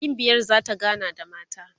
gimbiyar zata gana da mata